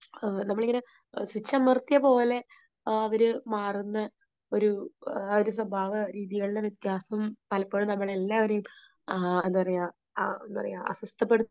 നമ്മളിങ്ങനെ സ്വിച്ച് നിർത്തിയ പോലെ അവര് മാറുന്ന ഒരു സ്വഭാവ, ആ ഒരു സ്വഭാവ രീതികളിലെ വ്യത്യാസം പലപ്പോഴും നമ്മളെ എല്ലാവരെയും എന്താ പറയുക ആഹ് എന്താ പറയുക, അസ്വസ്ഥതപ്പെടുത്തി